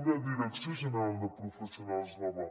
una direcció general de professionals nova